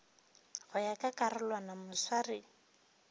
go ya ka karolwana moswari